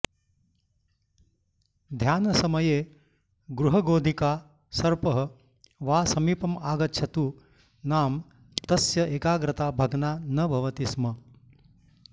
ध्यानसमये गृहगोधिका सर्पः वा समीपमागच्छतु नाम तस्य एकाग्रता भग्ना न भवति स्म